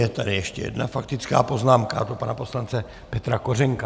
Je tady ještě jedna faktická poznámka, a to pana poslance Petra Kořenka.